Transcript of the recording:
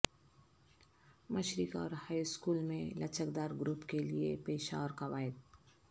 مشرق اور high school میں لچکدار گروپ کے لئے پیشہ اور قواعد